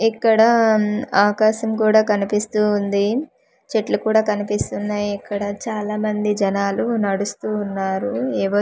ఇక్కడా ఆకాశం కూడా కనిపిస్తూ ఉంది చెట్లు కూడా కనిపిస్తున్నాయి ఇక్కడ చాలా మంది జనాలు నడుస్తూ ఉన్నారు ఏవో.